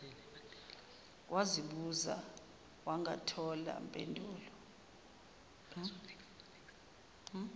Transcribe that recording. wazibuza wangathola mpendulo